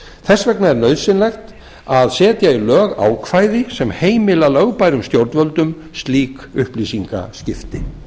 þess vegna er nauðsynlegt að setja í lög ákvæði sem heimila lögbærum stjórnvöldum slík upplýsingaskipti